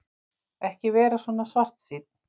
Ekki vera svona svartsýnn.